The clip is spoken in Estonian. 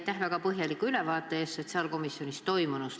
Aitäh väga põhjaliku ülevaate eest sotsiaalkomisjonis toimunust!